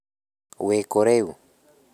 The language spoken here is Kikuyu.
Wĩkũ rĩu?